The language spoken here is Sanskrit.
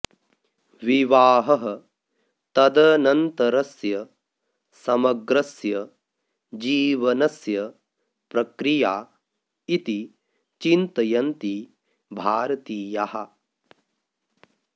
विवाहः तदनन्तरस्य समग्रस्य जीवनस्य प्रक्रिया इति चिन्तयन्ति भारतीयाः